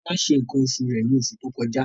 Tọ́lá ṣe nǹkan oṣù rẹ̀ ní oṣù tó kọjá.